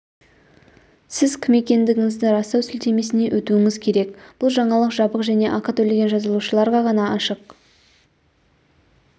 сіз кім екендігіңізді растау сілтемесіне өтуіңіз керек бұл жаңалық жабық және ақы төлеген жазылушыларға ғана ашық